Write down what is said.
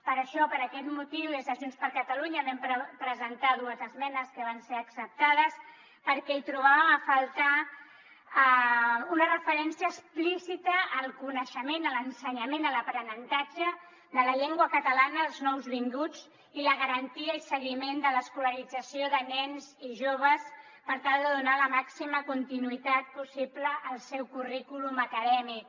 per això per aquest motiu des de junts per catalunya vam presentar dues esmenes que van ser acceptades perquè hi trobàvem a faltar una referència explícita al coneixement a l’ensenyament a l’aprenentatge de la llengua catalana als nouvinguts i la garantia i seguiment de l’escolarització de nens i joves per tal de donar la màxima continuïtat possible al seu currículum acadèmic